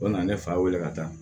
O nana ne fa wele ka taa